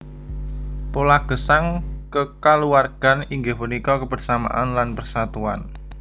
Pola gesang kekaluwargan inggih punika kebersamaan lan persatuan